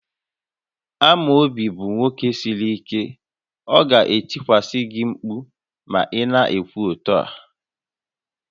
Amobi bụ nwoke siri ike, ọ ga-etikwasị gị mkpu ma ị na-ekwu otu a